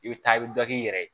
I bɛ taa i bɛ dɔ k'i yɛrɛ ye